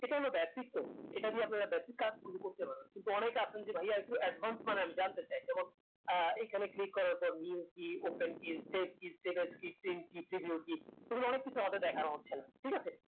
সেটা হলো বেক্তিত্ব এটা দিয়ে আপনারা ব্যাটিক কাজ গুলো করতে পারবেন কিন্তু অনেকে আছেন যে ভাইয়া একটু advance জানতে চাই যেকোন আহ এই খানে click করার পর view key, open key, save key, status key, সেগুলো অনেক কিছু আমাদের দেখানো হচ্ছে না ঠিক আছে